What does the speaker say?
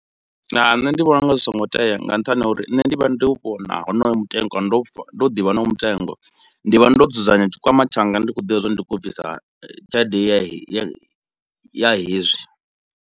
Nṋe ndi vhona unga zwi songo tea nga nṱhani ha uri nṋe ndi vha ndo vhona honoyo mutengo, ndo pfha, ndo ḓivha honoyo mutengo. Ndi vha ndo dzudzanya tshikwama tshanga ndi khou ḓivha zwa uri ndi khou bvisa tshelede ya he ya he ya hezwi.